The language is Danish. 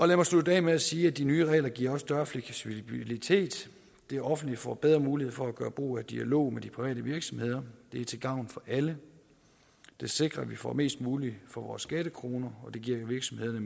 lad mig slutte af med at sige at de nye regler også giver større fleksibilitet det offentlige får bedre mulighed for at gøre brug af dialog med de private virksomheder det er til gavn for alle det sikrer at vi får mest muligt for vores skattekroner og det giver virksomhederne